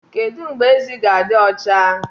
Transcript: Kedu mgbe ezi ga-adị ọcha?